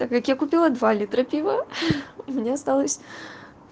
так как я купила два литра пива мне осталось